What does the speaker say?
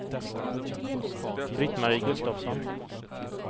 Britt-Marie Gustafsson